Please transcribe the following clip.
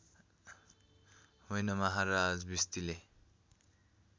होइन महाराज भिस्तीले